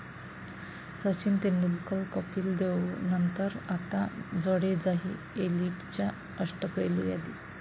सचिन तेंडुलकर, कपिल देवनंतर आता जडेजाही एलिटच्या अष्टपैलू यादीत!